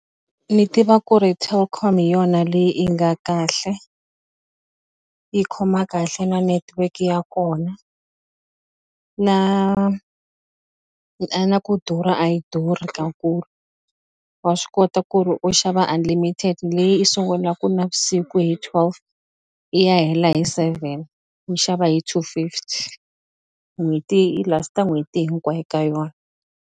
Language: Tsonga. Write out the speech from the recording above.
Ni tiva ku ri Telkom hi yona leyi yi nga kahle yi khoma kahle na network ya kona na na ku durha a yi durhi kakulu wa swi kota ku ri u xava unlimited leyi i sungulaku navusiku hi twelve i ya hela hi seven ni xava hi two fifty n'hweti i last-a n'hweti hinkwayo ka yona.